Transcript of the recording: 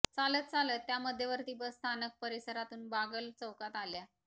चालत चालत त्या मध्यवर्ती बस स्थानक परिसरातून बागल चौकात आल्या